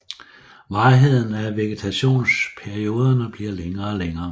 Varigheden af vegetationsperioderne bliver længere og længere